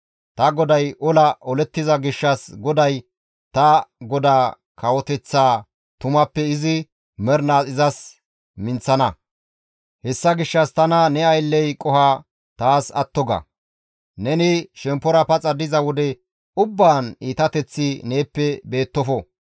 Ta GODAY ola olettiza gishshas GODAY ta godaa kawoteththaa tumappe izi mernaas izas minththana. Hessa gishshas tana ne aylley qoho taas atto ga. Neni shemppora paxa diza wode ubbaan iitateththi neeppe beettofo.